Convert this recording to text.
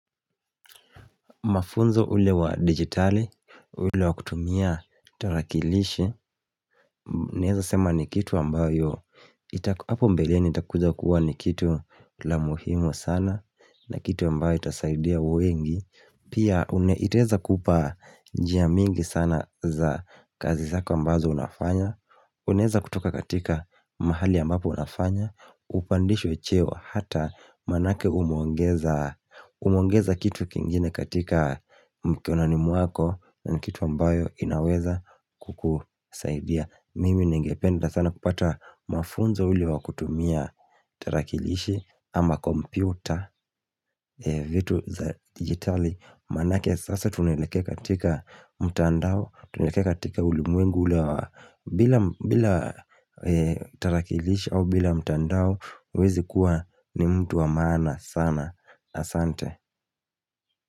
Mafunzo ule wa digitali, ule wa kutumia tarakilishi naweza sema ni kitu ambayo ita hapo mbeleni itakuja kuwa ni kitu la muhimu sana, na kitu ambayo itasaidia wengi, pia itaweza kupa njia mingi sana za kazi zako ambazo unafanya, unaweza kutoka katika mahali ambapo unafanya upandishwe cheo hata maanake umeongeza umeongeza kitu kingine katika mkononi mwako na kitu ambayo inaweza kukusaidia mimi ningependa sana kupata mafunzo ule wa kutumia tarakilishi ama kompyuta vitu za digitali maanake sasa tunaelekea katika mtandao tunaelekea katika ulimwengu ule wa bila bila tarakilishi au bila mtandao huwezi kuwa ni mtu wa maana sana asante.